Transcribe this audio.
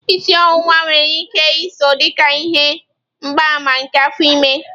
Isi ọwụwa nwere ike iso dị ka ihe mgbaàmà nke afọ ime.